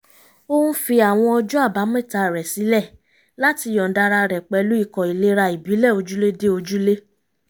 ó ń fi àwọn ọjọ́ àbámẹ́ta rẹ̀ sílẹ̀ láti yọ̀ǹda ara rẹ̀ pẹ̀lú ikọ̀ ìlera ìbílẹ̀ ojúlé dé ojúlé